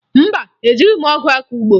Mba, ejighi m ọgụ akọ ugbo